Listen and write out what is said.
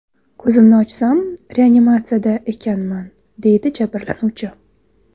Ko‘zimni ochsam, reanimatsiyada ekanman”, deydi jabrlanuvchi.